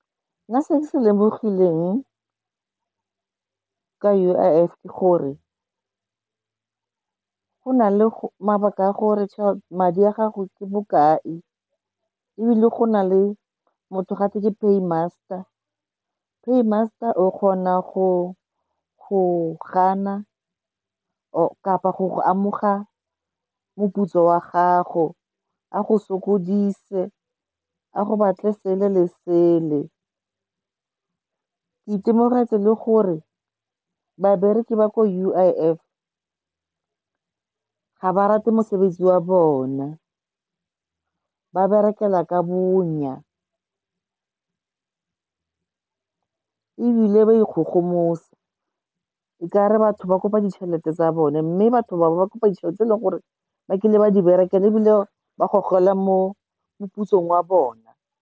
Nna se ke se lemogileng ka U_I_F ke gore go na le mabaka a gore madi a gago ke bokae ebile go na le motho gate ke paymaster. Paymaster o kgona go gana kapa go go amoga moputso wa gago, a go sokodise a go batle sele le sele. Ke itemogetse le gore babereki ba ko U_I_F ga ba rate mosebetsi wa bona, ba berekela ka bonya ebile ba ikgogomosa e kare batho ba kopa ditšhelete tsa bone mme batho bao ba kopa ditšhelete e leng gore ba kile ba di berekela ebile ba go gogelwa mo moputsong wa bona.